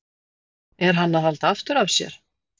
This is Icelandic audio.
Er hann að halda aftur af sér?